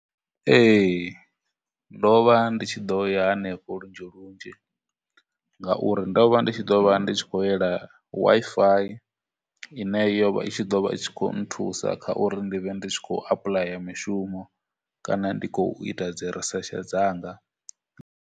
Ee, ndo vha ndi tshi ḓo ya henefho lunzhi lunzhi, ngauri ndo vha ndi tshi ḓo vha ndi tshi khou yela Wi-Fi ine yo vha i tshi ḓo vha tshi khou nthusa kha uri ndi vhe ndi khou apuḽaya mishumo, kana ndi khou ita dzi research dzanga.